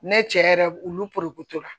Ne cɛ yɛrɛ olu porokotola